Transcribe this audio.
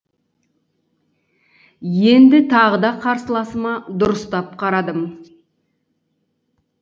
енді тағы да қарсыласыма дұрыстап қарадым